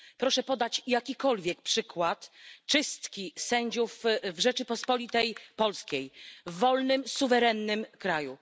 Proszę podać jakikolwiek przykład czystki sędziów w Rzeczypospolitej Polskiej, w wolnym, suwerennym kraju.